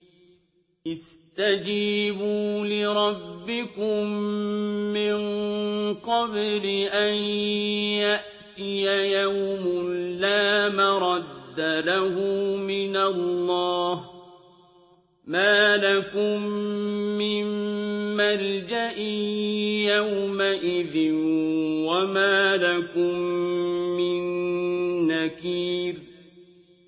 اسْتَجِيبُوا لِرَبِّكُم مِّن قَبْلِ أَن يَأْتِيَ يَوْمٌ لَّا مَرَدَّ لَهُ مِنَ اللَّهِ ۚ مَا لَكُم مِّن مَّلْجَإٍ يَوْمَئِذٍ وَمَا لَكُم مِّن نَّكِيرٍ